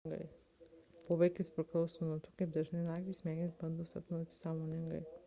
poveikis priklauso nuo to kaip dažnai naktį smegenys bando sapnuoti sąmoningai